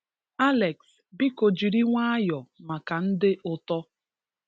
Alex, biko jiri nwayọ maka ndị ụto.